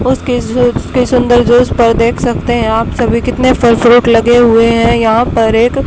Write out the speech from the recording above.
उसके जू उसके सुंदर जूस पर देख सकते हैं आप सभी कितने फल फ्रूट लगे हुए हैं यहां पर एक--